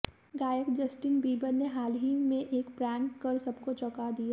गायक Justin Bieber ने हाल ही में एक प्रैंक कर सबको चौंका दिया